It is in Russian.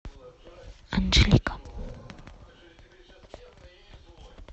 анжелика